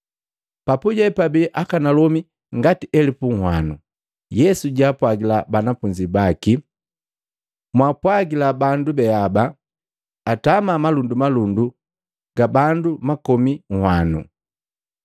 Papuje babii akanalomi ngati elupu unhwano. Yesu jaapwagila banafunzi baki, “Mwapwagila bandu beaba atama malundumalundu ga bandu makomi nhwanu.”